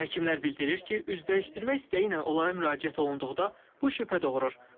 Həkimlər bildirir ki, üz dəyişdirmək istəyi ilə onlara müraciət olunduqda bu şübhə doğurur.